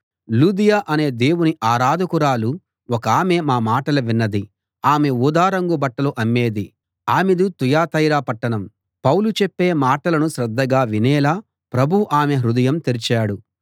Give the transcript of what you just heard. లూదియ అనే దేవుని ఆరాధకురాలు ఒకామె మా మాటలు విన్నది ఆమె ఊదారంగు బట్టలు అమ్మేది ఆమెది తుయతైర పట్టణం పౌలు చెప్పే మాటలను శ్రద్ధగా వినేలా ప్రభువు ఆమె హృదయం తెరచాడు